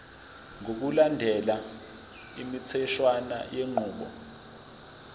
ngokulandela imitheshwana yenqubo